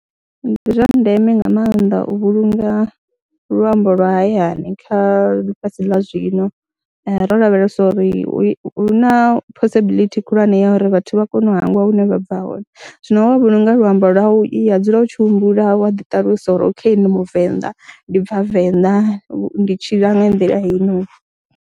Ndi zwa ndeme nga maanḓa u vhulunga luambo lwa hayani kha ḽifhasi ḽa zwino ro lavhelesa uri hu na possibility khulwane ya uri vhathu vha kone u hangwa hune vha bva hone, zwino wa vhulunga luambo lwau wa dzula u tshi humbula wa ḓiṱalusa uri okay ni muvenḓa, ndi bva Venḓa, ndi tshila nga nḓila heinoni.